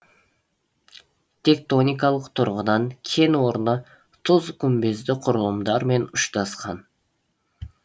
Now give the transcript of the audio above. тектоникалық тұрғыдан кен орны тұз күмбезді құрылымдармен ұштасқан